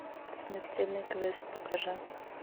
смертельный квест покажи